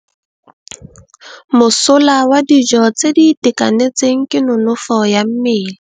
Mosola wa dijô tse di itekanetseng ke nonôfô ya mmele.